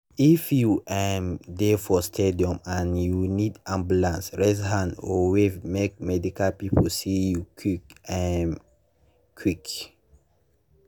if you um dey for stadium and you need ambulance raise hand or wave make medical people see you quick um quick.